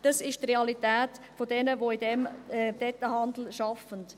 Das ist die Realität derer, die im Detailhandel arbeiten.